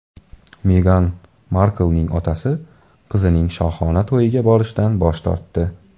Megan Marklning otasi qizining shohona to‘yiga borishdan bosh tortdi.